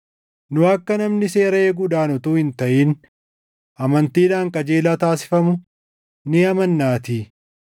Nu akka namni seera eeguudhaan utuu hin taʼin amantiidhaan qajeelaa taasifamu ni amannaatii.